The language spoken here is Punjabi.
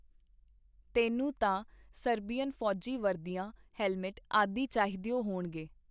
ਤੈਨੂੰ ਤਾਂ ਸਰਬੀਅਨ ਫੌਜੀ ਵਰਦੀਆਂ, ਹੈਲਮੈਟ, ਆਦਿ ਚਾਹੀਦਿਓ ਹੋਣਗੇ.